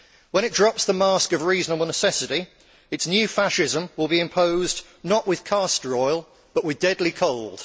When it drops the mask of reasonable necessity, its new fascism will be imposed, not with castor oil, but with deadly cold.